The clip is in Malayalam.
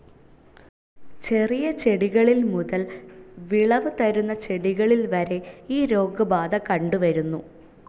ചെറിയ ചെടികളിൽ മുതൽ വിളവ് തരുന്ന ചെടികളിൽ വരെ ഈ രോഗബാധ കണ്ടു വരുന്നു.